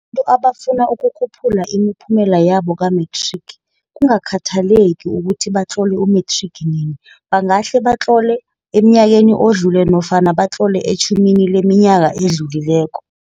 abafuna ukukhuphula imiphumela yabo kamethrigi, kungakhathaleki ukuthi batlole umethrigi nini, bangahle batlole emnyakeni odluleko nofana batlole etjhumini leminyaka edluleko.